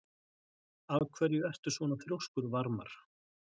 Af hverju ertu svona þrjóskur, Varmar?